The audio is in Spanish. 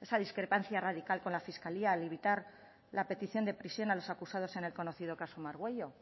esa discrepancia radical con la fiscalía al evitar la petición de prisión a los acusados en el conocido caso margüello